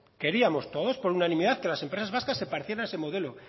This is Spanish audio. queríamos todos por unanimidad que las empresas vascas se parecieran a ese modelo